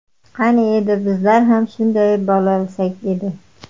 Qani edi bizlar ham shunday bo‘lolsak edi.